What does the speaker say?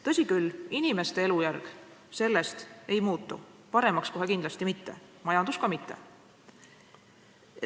Tõsi küll, inimeste elujärg sellest ei muutu, paremaks kohe kindlasti mitte, majandus ka mitte.